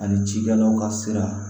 Ani cikɛlaw ka sira